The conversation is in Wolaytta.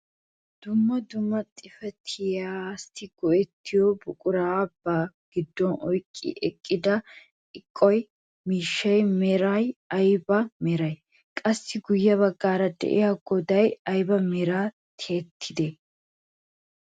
Dumma dumma xifatiyaassi go"ettiyoo buqurata ba giddon oyqqi eqqida eqo miishshaa meraay ayba meree? Qassi guye baggaara de'iyaa goday ayba meran tiyettidee?